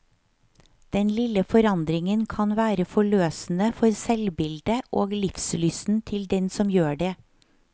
Den lille forandringen kan være forløsende for selvbildet og livslysten til den som gjør det.